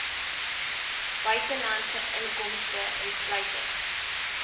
buitelandse inkomste insluitend